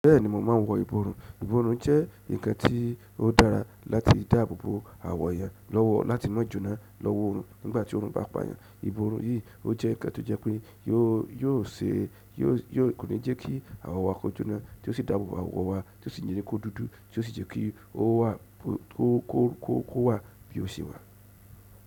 Bẹ́ẹ̀ni mo máa wọ́ ìborùn. Ìborùn jẹ́ ǹkan tí ó dára láti dáàbò bò àwọ̀ iyan láti ná jùnà lọ́wọ́ oòrùn nígbàtí oòrùn bá pàyàn. Ìborùn yìí ò jẹ nǹkan tó jẹ pé kò ní jẹ kìí awọ wa kò jóná, tó síi dáàbò bò awọ wa, tó ó síi ni jẹ́ kó dúdú, tó síi jẹ kìí ó wà bí ó ṣe wà.